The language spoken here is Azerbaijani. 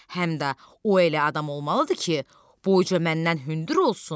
Həm də o elə adam olmalıdır ki, boyunca məndən hündür olsun.